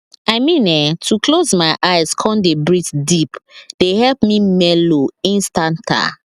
i mean[um]to close my eyes come dey breath deep dey help me mellow instanta